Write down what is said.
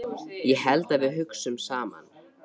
Ég held að við hugsum saman.